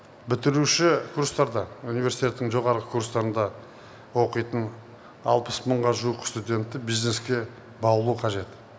бітіруші курстарда университеттің жоғарғы курстарында оқитын алпыс мыңға жуық студентті бизнеске баулу қажет